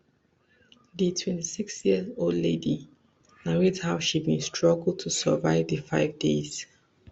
di twenty-six years old lady narrate how she bin struggle to survive di five days